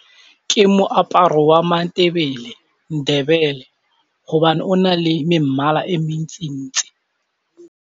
Ke moaparo wa Matebele, Ndebele gobane o na le memmala e mentsi-ntsi.